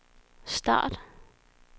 start